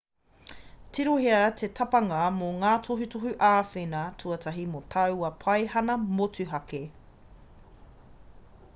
tirohia te tapanga mō ngā tohutohu āwhina tuatahi mō taua paihana motuhake